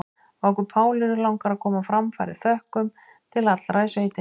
Okkur Pálínu langar að koma á framfæri þökkum til allra í sveitinni.